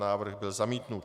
Návrh byl zamítnut.